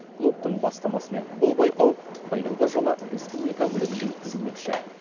клубтың бастамасымен бұл байқау биылғы жылы республика көлемінде өткізілмекші